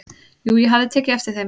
"""Jú, ég hafði tekið eftir þeim."""